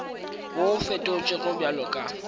wo o fetotšwego bjalo ka